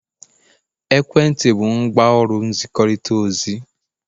ekwentị bụ ngwaọrụ nzikọrịta ozi